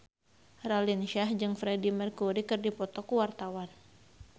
Raline Shah jeung Freedie Mercury keur dipoto ku wartawan